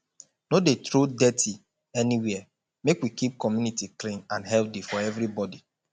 no dey throw dirty anywhere make we keep community clean and healthy for everybody